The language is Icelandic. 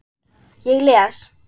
Ég les.